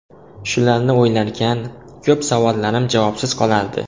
Shularni o‘ylarkan, ko‘p savollarim javobsiz qolardi.